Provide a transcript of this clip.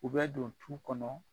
U bɛ don tu kɔnɔ